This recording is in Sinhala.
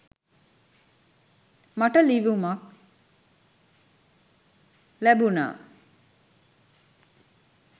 මට ලියුමක් ලැබුණා.